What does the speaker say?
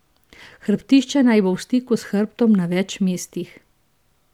Hrbtišče naj bo v stiku s hrbtom na več mestih.